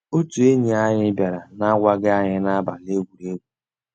Ótú ényí ànyị́ biàrà n'àgwàghị́ ànyị́ n'àbàlí égwùrégwù.